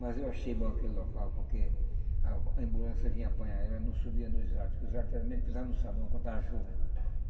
Mas eu achei bom aquele local, porque a ambulância vinha apanhar, ela não subia nos artes, que os artes eram mesmo que pisar no sabão quando estava chovendo.